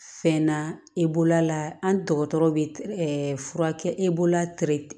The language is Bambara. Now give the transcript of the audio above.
Fɛn na e bolola an dɔgɔtɔrɔ bɛ fura kɛ e bolola